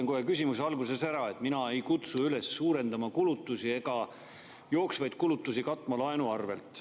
Ma ütlen küsimuse alguses kohe ära, et mina ei kutsu üles kulutusi suurendama ega jooksvaid kulutusi katma laenu arvelt.